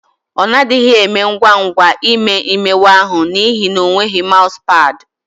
Ọ na-adịghi eme ngwa ngwa ime imewe ahụ n'ihi na o nweghị maụzụ pad.